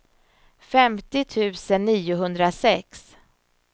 femtio tusen niohundrasex